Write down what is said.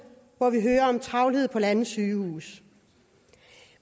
hvor vi hører om travlhed på landets sygehuse